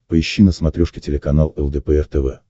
поищи на смотрешке телеканал лдпр тв